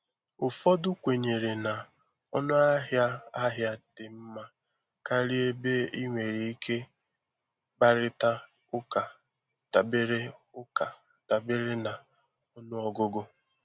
Ụfọdụ kwenyere na ọnụahịa ahịa dị mma karịa ebe ị nwere ike kparịta ụka dabere ụka dabere na ọnụọgụgụ.